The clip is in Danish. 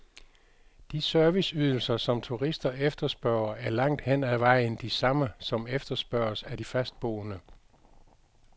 De serviceydelser, som turister efterspørger, er langt hen ad vejen de samme, som efterspørges af de fastboende.